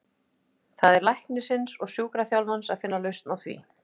Það er læknisins og sjúkraþjálfarans að finna lausn á því.